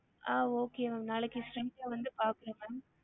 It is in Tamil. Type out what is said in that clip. ஆஹ் okay ma'am நாளைக்கு straight ல வந்து பாக்குறோம் ma'am